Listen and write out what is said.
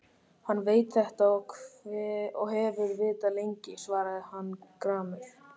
Hann veit þetta og hefur vitað lengi, svaraði hann gramur.